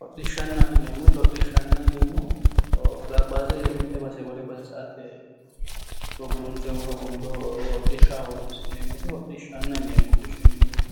Hodhishshanna yinneemmo woyte hodhishshu mite baseni wole base sa"ate gulunfe woyi hogombe hodhishshaho horonsi'neemmote hodhishshanna yinneemmo, hodhishsha yinneemmo woyte